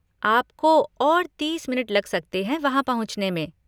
आपको और तीस मिनट लग सकते हैं वहाँ पहुँचने में।